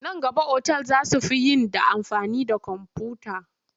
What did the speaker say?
Nan gaba otal za su fi yin da amfani da komfuta..